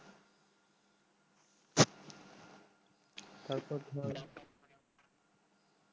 তারপর ঘুমাবার আগে